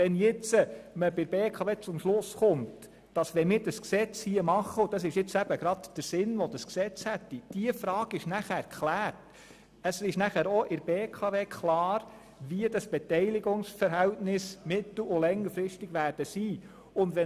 Wenn wir dieses Gesetz machen, ist auch der BKW klar, wie die Beteiligungsverhältnisse mittel- und längerfristig sein werden.